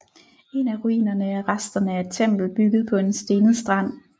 En af ruinerne er resterne af et tempel bygget på en stenet strand